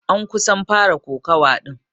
An kusan fara kokawa din.